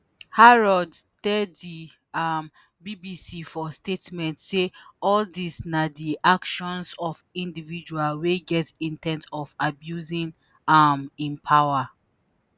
harrods tell di um bbc for statement say all dis na di actions of individual “wey get in ten t on abusing um im power”